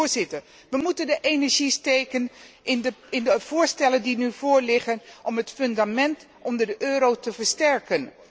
Voorzitter, wij moeten onze energie steken in de voorstellen die nu voorliggen om het fundament onder de euro te versterken.